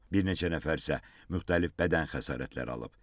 Bir neçə nəfər isə müxtəlif bədən xəsarətləri alıb.